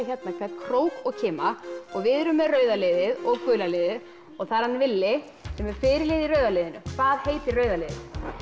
hérna hvern krók og kima og við erum með rauða liðið og gula liðið og það er hann villi sem er fyrirliði í rauða liðinu hvað heitir rauða liðið